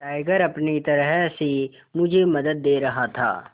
tiger अपनी तरह से मुझे मदद दे रहा था